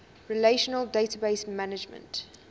relational database management